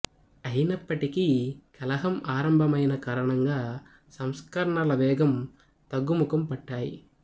అయినప్పటికీ కలహం ఆరంభమైన కారణంగా సంస్కరణల వేగం తగ్గుముఖం పట్టాయి